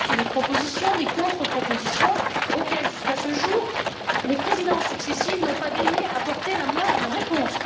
Nous avons fait des propositions, des contre propositions auxquelles, jusqu'à ce jour, les présidences successives n'ont pas daigné apporter la moindre réponse.